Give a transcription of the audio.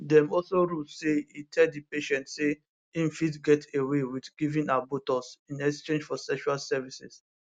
dem also rule say e tell di patient say im fit get away wit giving her botox in exchange for sexual services